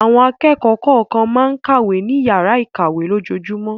Àwọn akẹ́kọ̀ọ́ kọ̀ọ̀kan máa ń kàwé ní ìyàrá-ìkàwé lójoojúmọ́.